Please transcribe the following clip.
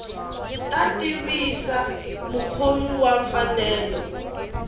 ta tivisa mukhomi wa mfanelo